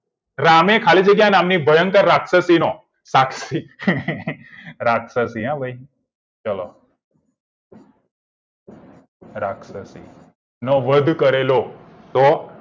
રામે ખાલી જગ્યા નામની ભયંકર રાક્ષસીનું રાક્ષસી હો ભઈ ચલો રાક્ષસી નો વધ કરેલો તો